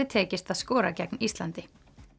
tekist að skora gegn Íslandi